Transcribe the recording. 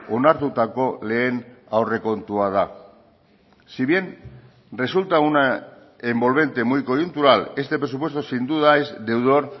onartutako lehen aurrekontua da si bien resulta una envolvente muy coyuntural este presupuesto sin duda es deudor